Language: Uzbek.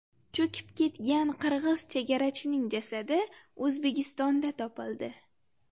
Cho‘kib ketgan qirg‘iz chegarachining jasadi O‘zbekistonda topildi.